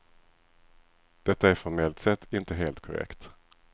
Detta är formellt sett inte helt korrekt.